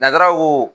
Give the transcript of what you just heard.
Natarawo